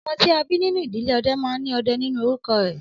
Ọmọ tí a bí nínú ìdílé ọdẹ máa ní Ọdẹ nínú orúkọ rẹ̀